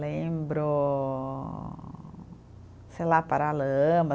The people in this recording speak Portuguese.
Lembro, sei lá, Paralamas.